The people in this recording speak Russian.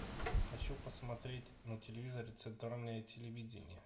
хочу посмотреть на телевизоре центральное телевидение